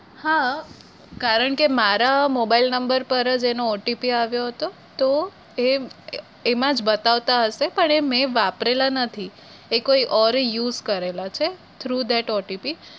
હા કારણ કે મારા mobile number પર જ એનો OTP આવ્યો હતો તો એમાં જ બતાવતા હશે પણ મેં વાપરેલા નથી એ કોઈ એ ઓંરે use કરેલા છે through thatOTP